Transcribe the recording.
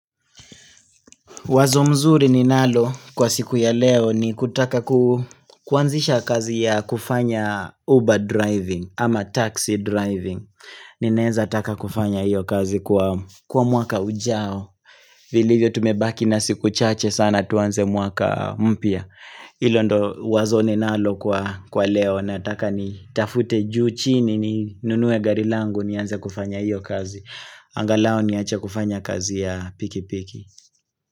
Wazo mzuri ni nalo kwa siku ya leo ni kutaka kuanzisha kazi ya kufanya Uber driving ama taxi driving. Ninaweza taka kufanya iyo kazi kwa mwaka ujao. Viliyo tumebaki na siku chache sana tuanze mwaka mpya. Ilo ndo wazo ni nalo kwa leo na taka ni tafute juu chini ni nunue gari langu nianze kufanya iyo kazi. Angalau niache kufanya kazi ya piki piki.